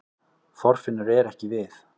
Þorfinnur er ekki við